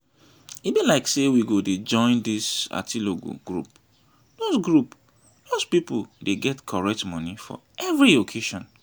e be like say we go dey join this atilogwu group doz group doz people dey get correct money for every occasion